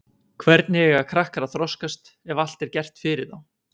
Hvernig eiga krakkar að þroskast ef allt er gert fyrir þá?